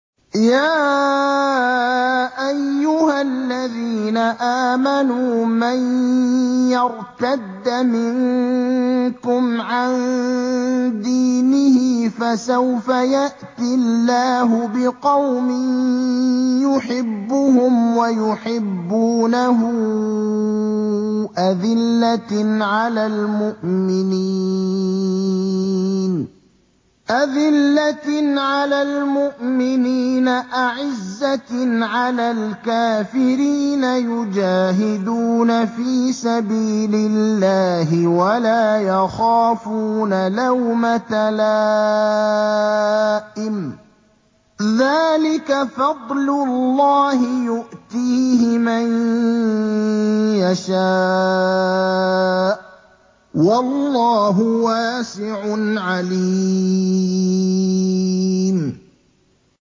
يَا أَيُّهَا الَّذِينَ آمَنُوا مَن يَرْتَدَّ مِنكُمْ عَن دِينِهِ فَسَوْفَ يَأْتِي اللَّهُ بِقَوْمٍ يُحِبُّهُمْ وَيُحِبُّونَهُ أَذِلَّةٍ عَلَى الْمُؤْمِنِينَ أَعِزَّةٍ عَلَى الْكَافِرِينَ يُجَاهِدُونَ فِي سَبِيلِ اللَّهِ وَلَا يَخَافُونَ لَوْمَةَ لَائِمٍ ۚ ذَٰلِكَ فَضْلُ اللَّهِ يُؤْتِيهِ مَن يَشَاءُ ۚ وَاللَّهُ وَاسِعٌ عَلِيمٌ